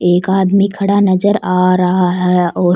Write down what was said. एक आदमी खड़ा नजर आ रहा है और--